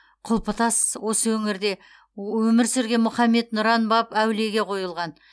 құлпытас осы өңірде өмір сүрген мұхаммед нұран баб әулиеге қойылған